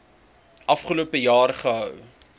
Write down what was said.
afgelope jaar gehou